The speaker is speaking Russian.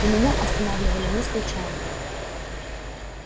и меня останавливали не случайно